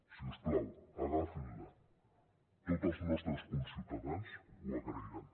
si us plau agafin la tots els nostres conciutadans ho agrairan